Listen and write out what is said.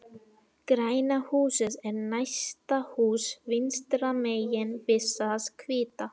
Græna húsið er næsta hús vinstra megin við það hvíta.